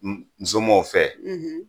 N n somɔgɔw fɛ,